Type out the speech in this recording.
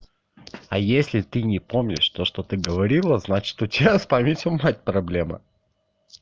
а если ты не помнишь то что ты говорила значит у тебя с памятью мать проблемы